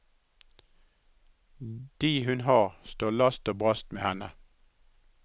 De hun har, står last og brast med henne.